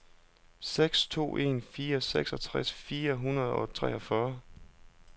seks to en fire seksogtres fire hundrede og treogfyrre